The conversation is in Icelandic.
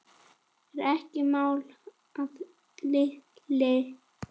Er ekki mál að linni?